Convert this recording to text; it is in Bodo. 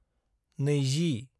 20